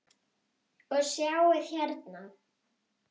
Og sjáið hérna!